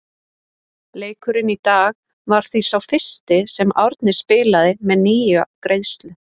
Leikurinn í dag var því sá fyrsti sem Árni spilaði með nýja greiðslu.